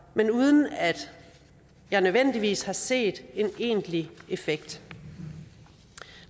men uden at jeg nødvendigvis har set en egentlig effekt